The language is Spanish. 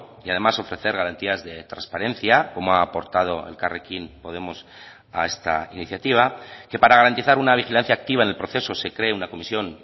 y además ofrecer garantías de transparencia como ha aportado elkarrekin podemos a esta iniciativa que para garantizar una vigilancia activa en el proceso se cree una comisión